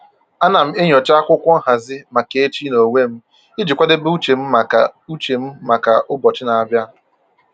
Ana m enyocha akwụkwọ nhazi maka echi n'onwe m iji kwadebe uche m maka uche m maka ụbọchị na-abịa